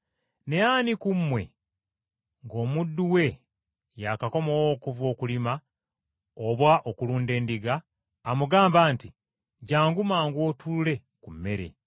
“Naye ani ku mmwe, ng’omuddu we yaakakomawo okuva okulima oba okulunda endiga, amugamba nti, ‘Jjangu mangu otuule ku mmere?’